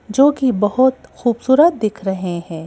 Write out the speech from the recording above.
जोकि बहुत खूबसूरत दिख रहे हैं।